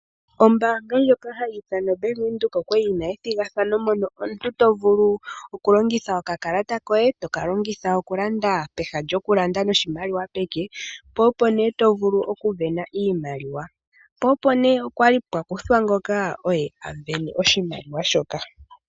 Oombanga ndjoka hayi ithanwa Bank Windhoek okwali yina ethigathano mono omuntu to vulu okulongitha okakalata koye toka longitha okulanda peha lyokulanda noshimaliwa peke, po opo ne to vulu oku sindana iimaliwa, po opo ne pwali pwakuthwa ngoka oye asindana oshimaliwa shoka.